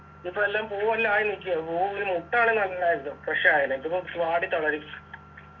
ഇതിപ്പോ എല്ലാം പൂവെല്ലാം ആയി നീക്കാ പൂവിൽ മൊട്ട് ആണെങ്കി നല്ലായിരുന്നു കൃഷി ആയേനെ ഇതിപ്പം വാടി തളരും